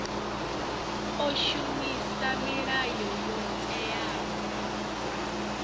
o shumisa milayo yo teaho